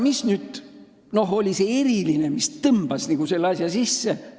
Mis aga oli nüüd see eriline, mis tõmbas nagu selle asja käima?